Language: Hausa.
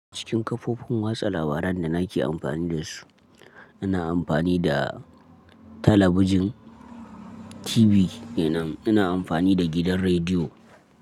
Cikin kafofin wasa labarai da na ke amfani dasu ina amfani da talabijin TV kenan, ina amfani da gidan rediyo.